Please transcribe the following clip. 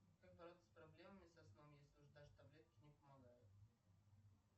как бороться с проблемами со сном если уже даже таблетки не помогают